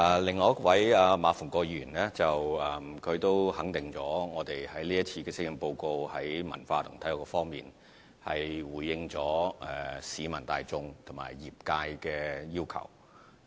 另外一位是馬逢國議員，他認同施政報告在文化及體育方面，回應了市民大眾和業界的要求。